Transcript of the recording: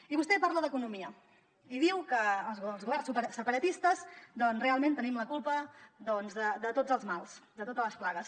i vostè parla d’economia i diu que els governs separatistes doncs realment tenim la culpa de tots els mals de totes les plagues